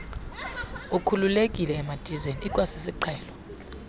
ukhululekile emidizeni ikwasisiqhelo